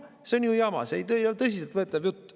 See on ju jama, see ei ole tõsiselt võetav jutt.